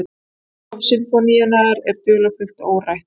Upphaf sinfóníunnar er dularfullt og órætt.